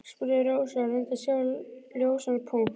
spurði Rósa og reyndi að sjá ljósan punkt.